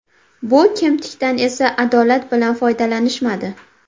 Bu kemtikdan esa adolat bilan foydalanishmadi.